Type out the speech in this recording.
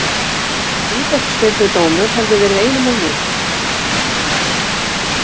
Vítaspyrnudómur hefði verið einum of mikið.